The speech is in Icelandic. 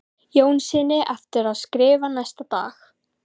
Jónssyni eftir að skrifa næsta dag.